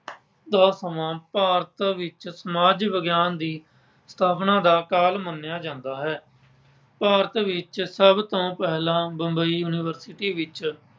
ਦਾ ਸਮਾਂ ਭਾਰਤ ਵਿੱਚ ਸਮਾਜ ਵਿਗਿਆਨ ਦੀ ਸਥਾਪਨਾ ਦਾ ਕਾਲ ਮੰਨਿਆ ਜਾਂਦਾ ਹੈ। ਭਾਰਤ ਵਿੱਚ ਸਭ ਤੋਂ ਪਹਿਲਾਂ ਬੰਬਈ university ਵਿੱਚ